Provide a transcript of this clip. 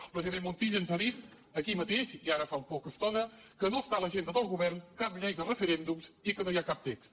el president montilla ens ha dit aquí mateix i ara fa poca estona que no està a l’agenda del govern cap llei de referèndums i que no hi ha cap text